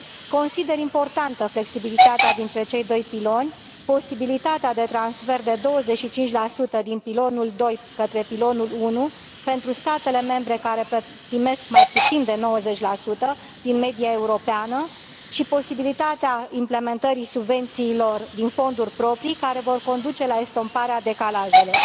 Consider importantă flexibilitatea dintre cei doi piloni, posibilitatea de transfer de 25 din pilonul II către pilonul I pentru statele membre care primesc mai puțin de 90 din media europeană și posibilitatea implementării subvențiilor din fonduri proprii, care vor conduce la estomparea decalajelor.